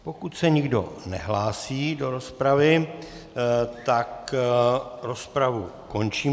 Pokud se nikdo nehlásí do rozpravy, tak rozpravu končím.